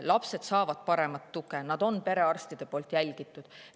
Lapsed saavad paremat tuge, nad on perearstide juures jälgitud.